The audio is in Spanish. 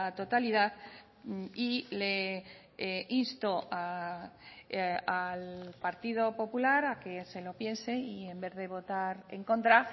totalidad y le insto al partido popular a que se lo piense y en vez de votar en contra